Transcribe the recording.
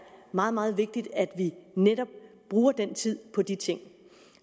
meget meget vigtigt at vi netop bruger den tid på de ting